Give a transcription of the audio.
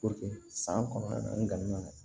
san kɔnɔ n ka na